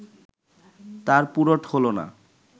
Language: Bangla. তার পুরট হলো না